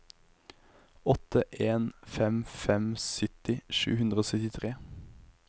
åtte en fem fem sytti sju hundre og syttitre